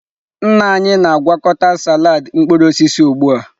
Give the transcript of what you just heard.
Nna anyị na-agwakọta salad mkpụrụ osisi ugbu a.